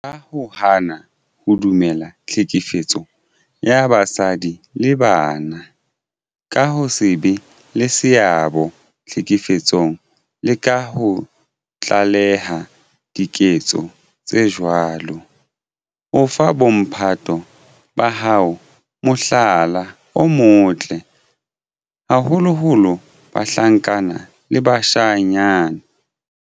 Ka ho hana ho dumella tlhekefetso ya basadi le bana, ka ho se be le seabo tlhekefetsong le ka ho tlaleha diketso tse jwalo, o fa bo mphato ba hao mohlala o motle, haholoholo bahlankana le bashanyana.